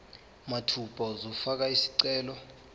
mathupha uzofaka isicelo